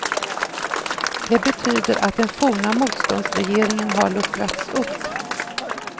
Det betyder att den forna motståndsregeringen har luckrats upp.